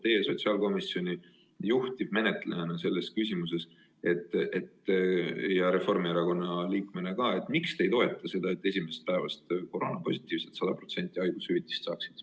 Teie sotsiaalkomisjoni juhtivmenetlejana selles küsimuses ja Reformierakonna liikmena öelge, miks te ei toeta seda, et koroonapositiivsed saaksid esimesest haiguspäevast alates 100% ulatuses haigushüvitist?